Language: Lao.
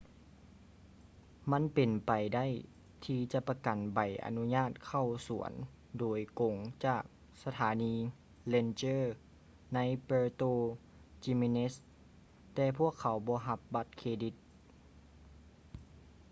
ມັນເປັນໄປໄດ້ທີ່ຈະປະກັນໃບອະນຸຍາດເຂົ້າສວນໂດຍກົງຈາກສະຖານີ ranger ໃນ puerto jiménez ແຕ່ພວກເຂົາບໍ່ຮັບບັດເຄຣດິດ